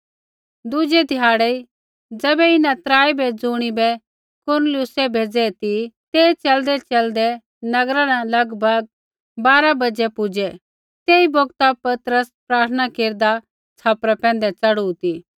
दुज़ै ध्याड़ी ज़ैबै इन्हां त्राई बै ज़ुणिबै कुरनेलियुसै भेज़ै ती ते च़लदैच़लदै नगरा न लगभग बारा बाज़ै पुजै तेई बौगता पतरस प्रार्थना केरदा छ़ापरा पैंधै च़ढ़ू ती